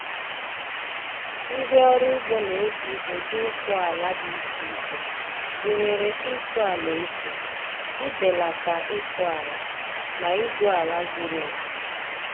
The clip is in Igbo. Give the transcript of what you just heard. Ndị ọrụ ugbo na-eji ụdị ịsụ ala dị iche iche, gụnyere ịsụ ala efu, ibelata ịsụ ala, na igwu ala zuru oke.